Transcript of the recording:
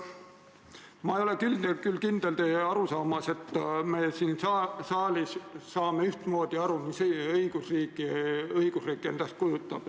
Ma ei ole aga kindel teie arusaamas, et me siin saalis saame ühtmoodi aru, mida õigusriik endast kujutab.